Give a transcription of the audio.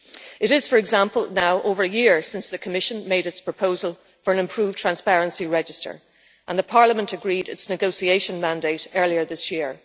It is, for example, now over a year since the Commission made its proposal for an improved Transparency Register and Parliament agreed its negotiation mandate earlier this year.